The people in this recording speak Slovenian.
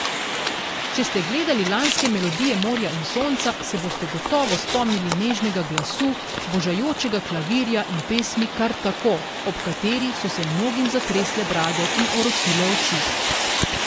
Če ste gledali lanske Melodije morja in sonca, se boste gotovo spomnili nežnega glasu, božajočega klavirja in pesmi Kar tako, ob kateri so se mnogim zatresle brade in orosile oči.